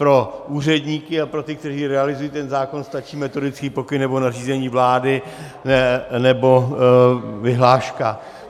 Pro úředníky a pro ty, kteří realizují ten zákon, stačí metodický pokyn nebo nařízení vlády nebo vyhláška.